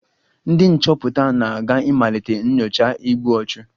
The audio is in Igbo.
Ndị nchọpụta na-aga ịmalite nyocha igbu ọchụ